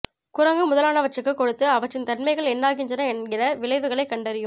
குரங்கு முதலானவற்றுக்கு கொடுத்து அவற்றின் தன்மைகள் என்னாகின்றன என்கிற விளைவுகளை கண்டறியும்